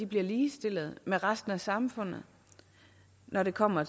bliver ligestillet med resten af samfundet når det kommer